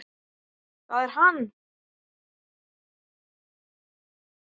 ÞAÐ ER HANN!